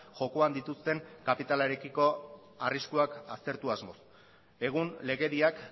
jokoan dituzten kapitalarekiko arriskuak aztertu asmoz egun legediak